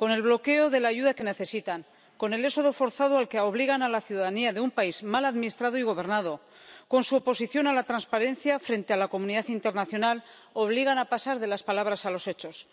con el bloqueo de la ayuda que necesitan, con el éxodo forzado al que obligan a la ciudadanía de un país mal administrado y gobernado, con su oposición a la transparencia frente a la comunidad internacional, obligan a pasar de las palabras a los hechos.